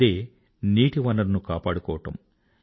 అదే నీటి వనరును కాపాడుకోవడం